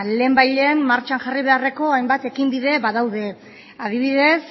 lehenbailehen martxan jarri beharreko hainbat ekinbide badaude adibidez